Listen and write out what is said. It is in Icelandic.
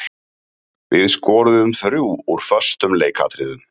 Við skoruðum þrjú úr föstum leikatriðum.